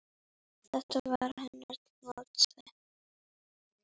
Þetta var hennar mottó.